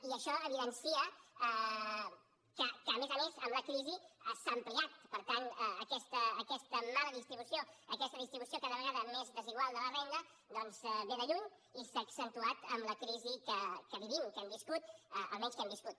i això evidencia que a més a més amb la crisi s’ha ampliat per tant aquesta mala distribució aquesta distribució cada vegada més desigual de la renda doncs ve de lluny i s’ha accentuat amb la crisi que vivim que hem viscut almenys que hem viscut